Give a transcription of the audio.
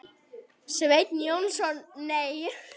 Sveinn Jónsson Nei.